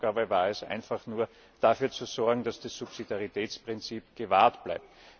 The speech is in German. Unsere Aufgabe war es, einfach nur dafür zu sorgen, dass das Subsidiaritätsprinzip gewahrt bleibt.